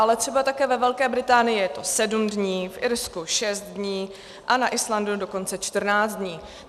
Ale třeba také ve Velké Británii je to sedm dní, v Irsku šest dní a na Islandu dokonce čtrnáct dní.